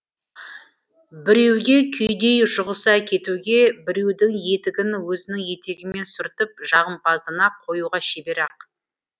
біреуге күйедей жұғыса кетуге біреудің етігін өзінің етегімен сүртіп жағымпаздана қоюға шебер ақ